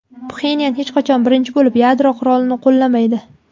Pxenyan hech qachon birinchi bo‘lib yadro qurolini qo‘llamaydi.